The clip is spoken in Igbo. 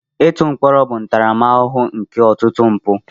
Ịtụ mkpọrọ bụ ntaramahụhụ nke ọtụtụ mpụ.